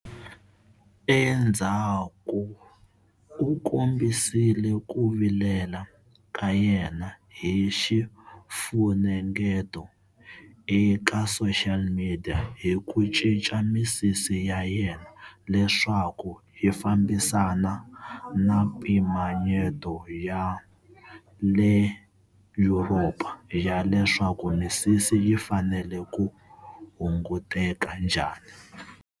Endzhaku u kombisile ku vilela ka yena hi xifunengeto eka social media hi ku cinca misisi ya yena leswaku yi fambisana na mimpimanyeto ya le Yuropa ya leswaku misisi yi fanele ku hunguteka njhani.